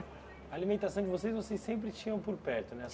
A alimentação que vocês vocês sempre tinham por perto, né?